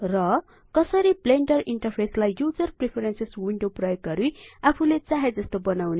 र कसरी ब्लेंडर इन्टरफेसलाई युजर प्रेफेरेंसेस विन्डो प्रयोग गरि आफुले चाहे जस्तो बनाउने